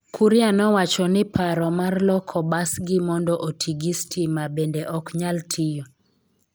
Kuria nowacho ni paro mar loko basgi mondo oti gi stima bende ok nyal tiyo.